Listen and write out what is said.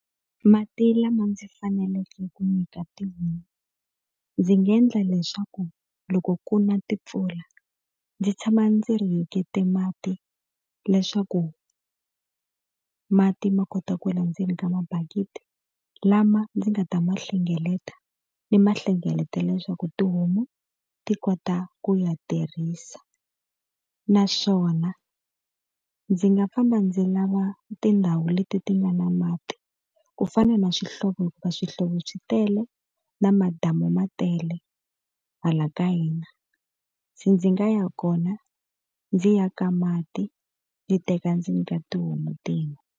Mati lama ndzi faneleke ku nyika tihomu, ndzi nga endla leswaku loko ku na timpfula, ndzi tshama ndzi rihekete mati leswaku mati ma kota ku wela ndzeni ka mabakiti. Lama ndzi nga ta ma hlengeleta ni ma hlengeletela leswaku tihomu ti kota ku ya tirhisa. Naswona ndzi nga famba ndzi lava tindhawu leti ti nga na mati, ku fana na swihlovo hikuva swihlovo swi tele, na madamu ma tele hala ka hina. Se ndzi nga ya kona ndzi ya ka mati, ni teka ndzi nyika tihomu ti nwa.